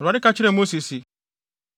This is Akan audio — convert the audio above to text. Awurade ka kyerɛɛ Mose se,